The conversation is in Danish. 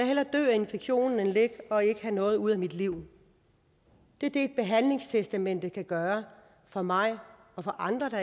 infektionen end at ligge og ikke have noget ud af mit liv det er det behandlingstestamentet kan gøre for mig og for andre der